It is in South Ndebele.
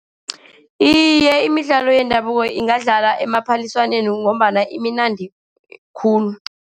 Iye, imidlalo yendabuko ingadlalwa emaphaliswaneni, ngombana imnandi khulu.